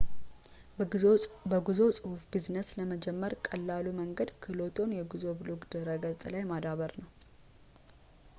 በጉዞ ጽሁፍ ቢዝነስን ለመጀመር ቀላሉ መንገድ ክህሎትዎን የጉዞ ብሎግ ድረ ገጽ ላይ ማዳበር ነው